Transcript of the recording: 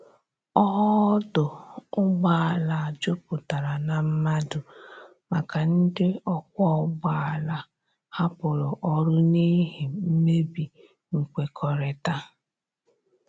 Ọdo ụgbọ ala juputara na madu maka ndi ọkwọ ụgbọ ala hapụrụ ọrụ n'ihi mmebi nkwekorita